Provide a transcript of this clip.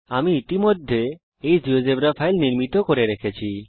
আমি ইতিমধ্যে এই জীয়োজেব্রা ফাইল নির্মিত করে রেখেছি